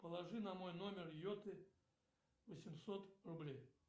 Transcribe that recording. положи на мой номер йоты восемьсот рублей